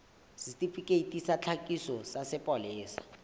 setifikeiti sa tlhakiso sa sepolesa